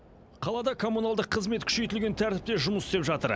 қалада коммуналдық қызмет күшейтілген тәртіпте жұмыс істеп жатыр